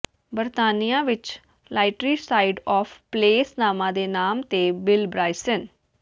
ਬਰਤਾਨੀਆ ਵਿਚ literary side of place ਨਾਮਾਂ ਦੇ ਨਾਮ ਤੇ ਬਿਲ ਬ੍ਰਾਇਸਨ